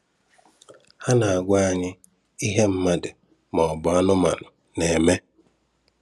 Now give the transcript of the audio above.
Ha na-agwa anyị ihe mmadụ maọbụ anụmanụ na-eme.